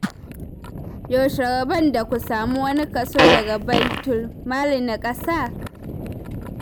Yaushe rabon da ku samu wani kaso daga baitul mali na ƙasa?